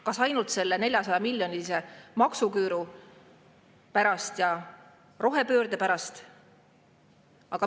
Kas ainult selle 400‑miljonilise maksuküüru pärast ja rohepöörde pärast?